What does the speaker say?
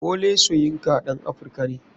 Wole soyinka ɗan africa ne.